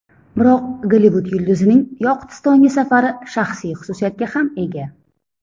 Biroq Gollivud yulduzining Yoqutistonga safari shaxsiy xususiyatga ham ega.